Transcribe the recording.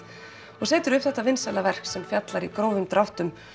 og setur upp þetta vinsæla verk sem fjallar í grófum dráttum